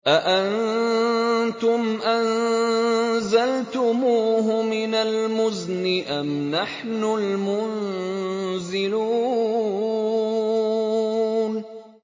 أَأَنتُمْ أَنزَلْتُمُوهُ مِنَ الْمُزْنِ أَمْ نَحْنُ الْمُنزِلُونَ